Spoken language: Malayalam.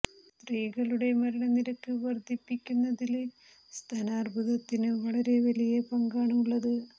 സ്ത്രീകളുടെ മരണ നിരക്ക് വര്ദ്ധിപ്പിക്കുന്നതില് സ്തനാര്ബുദത്തിന് വളരെ വലിയ പങ്കാണ് ഉള്ളത്